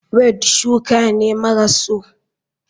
Weed shuka ne maras so.